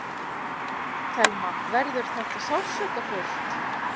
Telma: Verður þetta sársaukafullt?